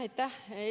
Aitäh!